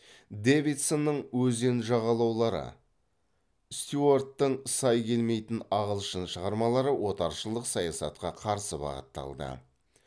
дэвидсонның стюарттың шығармалары отаршылдық саясатқа қарсы бағытталды